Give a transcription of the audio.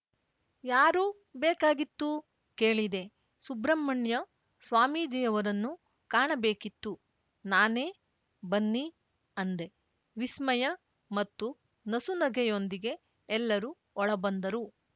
ಯಾರು ಬೇಕಾಗಿತ್ತುಕೇಳಿದೆ ಸುಬ್ರಹ್ಮಣ್ಯ ಸ್ವಾಮೀಜಿಯವರನ್ನು ಕಾಣಬೇಕಿತ್ತು ನಾನೇಬನ್ನಿಅಂದೆ ವಿಸ್ಮಯ ಮತ್ತು ನಸುನಗೆಯೊಂದಿಗೆ ಎಲ್ಲರು ಒಳಬಂದರು